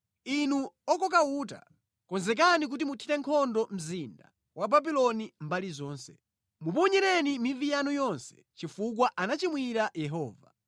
“Inu okoka uta, konzekani kuti muthire nkhondo mzinda wa Babuloni mbali zonse. Muponyereni mivi yanu yonse chifukwa anachimwira Yehova.